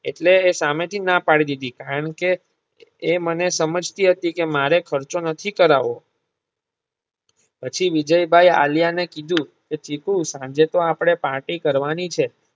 એટલે એ સામે થી ના પાડી દીધી કારણકે એ મને સમજતી હતી કે મારે ખર્ચો નથી કરાવો પછી વિજયભાઇ આલિયા ને કીધું કે ચીકુ સાંજે તો આપણે પાર્ટી કરવાની છે